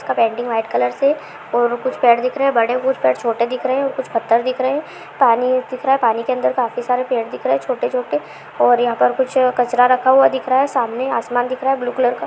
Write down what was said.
उसका painting white colour से और कुछ पेड़ दिख रहे हैं और बड़े कुछ पेड़ छोटे दिख रहे और कुछ पत्थर दिख रहे हैं पानी दिख रहा है पानी के अंदर के अंदर काफी सारे पेड़ दिख रहे हैं छोटे-छोटे और यहाँ पर कुछ कचरा रखा हुआ दिख रहा है सामने आसमान दिख रहा है ब्लू कलर का।